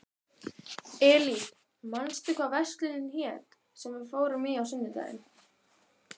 Elí, manstu hvað verslunin hét sem við fórum í á sunnudaginn?